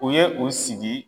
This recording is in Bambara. O ye u sigi.